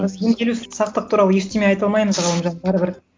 біз емделу сақтық туралы ештеме айта алмаймыз ғалымжан бәрібір